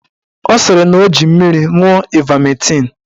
Ọ sịrị na ọ ji mmiri ṅụọ ivametịn.